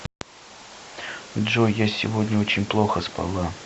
джой я сегодня очень плохо спала